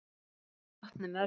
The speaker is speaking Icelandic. Þau tóku okkur opnum örmum.